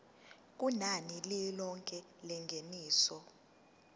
kunani lilonke lengeniso